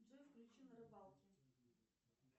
джой включи на рыбалке